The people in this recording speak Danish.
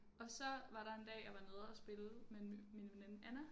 Og så var der en dag jeg var nede spille med min veninde Anna